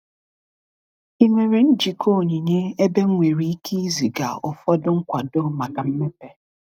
Ị nwere njikọ onyinye ebe m nwere ike iziga ụfọdụ nkwado maka mmepe?